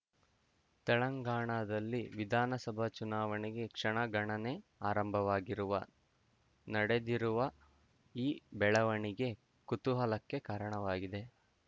ತೆಲಂಗಾಣದಲ್ಲಿ ವಿಧಾನಸಭಾ ಚುನಾವಣೆಗೆ ಕ್ಷಣಗಣನೆ ಆರಂಭವಾಗಿರುವ ನಡೆದಿರುವ ಈ ಬೆಳವಣಿಗೆ ಕುತೂಹಲಕ್ಕೆ ಕಾರಣವಾಗಿದೆ